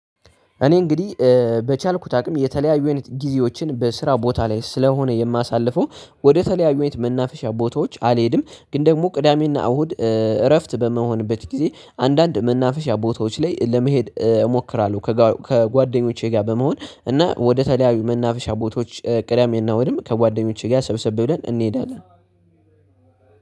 እኔ እንግዲህ በቻልኩት አቅም የተለያዩ አይነት ጊዜዎችን በስራ ቦታ ላይ ስለሆነ የማሳልፈው ወደ ተለያዩ አይነት መናፈሻ ቦታዎች አልሄድም ግን ደግሞ ቅዳሜና እሁድ እረፍት በመሆንበት ጊዜ አንዳንድ መናፈሻ ቦታዎች ላይ ለመሄድ እሞክራለሁ። ከጓደኞቼ ጋር በመሆን እና ወደ ተለያዩ መናፈሻ ቦታዎች ቅዳሜና እሁድም ከጓደኞቼ ጋር ሰብስብ ብለን እንሄዳለን።